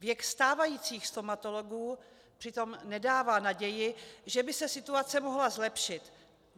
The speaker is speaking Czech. Věk stávajících stomatologů přitom nedává naději, že by se situace mohla zlepšit.